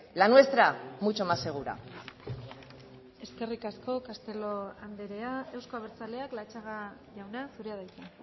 la nuestra mucho más segura eskerrik asko castelo andrea euzko abertzaleak latxaga jauna zurea da hitza